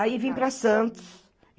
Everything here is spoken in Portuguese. Aí vim para Santos.